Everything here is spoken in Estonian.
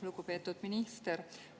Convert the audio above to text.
Lugupeetud minister!